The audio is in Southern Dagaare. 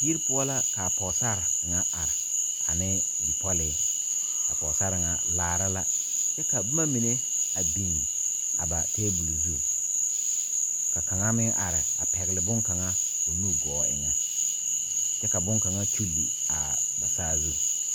Yiri poɔ la k,a pɔgesare ŋa are ane bipɔlee pɔgesare ŋa laara la kyɛ ka boma mine a biŋ a ba tabol zu ka kaŋa meŋ are a pɛgle bonkaŋa o nu gɔɔ eŋa kyɛ ka bonkaŋa kyuuli a saazu.